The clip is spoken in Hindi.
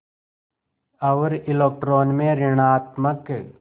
और इलेक्ट्रॉन में ॠणात्मक